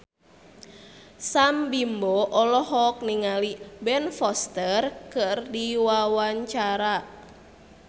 Sam Bimbo olohok ningali Ben Foster keur diwawancara